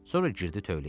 Sonra girdi tövləyə.